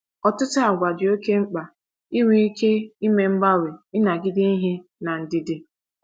“ Ọtụtụ àgwà dị oké mkpa: inwe ike ime mgbanwe, ịnagide ihe, na ndidi.